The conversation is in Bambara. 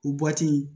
U